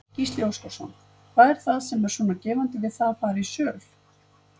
Gísli Óskarsson: Hvað er það sem er svona gefandi við það að fara í söl?